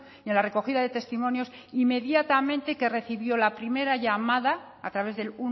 y en la recogida de testimonios inmediatamente que recibió la primera llamada a través del